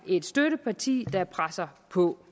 et støtteparti der presser på